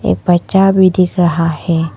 एक बच्चा भी दिख रहा हैं।